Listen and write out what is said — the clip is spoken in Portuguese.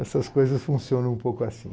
Essas coisas funcionam um pouco assim.